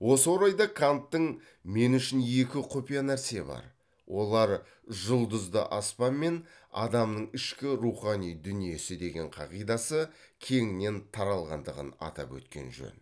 осы орайда канттың мен үшін екі құпия нәрсе бар олар жұлдызды аспан мен адамның ішкі рухани дүниесі деген қағидасы кеңінен таралғандығын атап өткен жөн